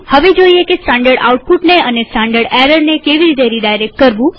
હવે જોઈએ કે સ્ટાનડર્ડ આઉટપુટ અને સ્ટાનડર્ડ એરરને કેવી રીતે રીડાયરેક્ટ કરવું